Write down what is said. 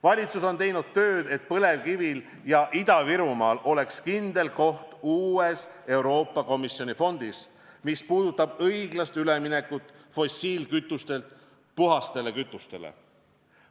Valitsus on teinud tööd, et põlevkivil ja Ida-Virumaal oleks kindel koht uues Euroopa Komisjoni fondis, mis puudutab õiglast üleminekut fossiilkütustelt puhastele kütustele.